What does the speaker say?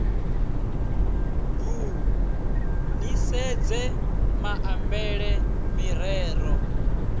b ni sedze maambele mirero